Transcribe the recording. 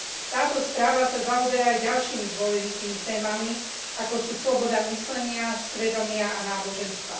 Táto správa sa zaoberá aj ďalšími dôležitými témami, ako sú sloboda myslenia, svedomia a náboženstva.